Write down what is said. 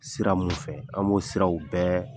Sira mun fɛ, an b'o siraw bɛɛ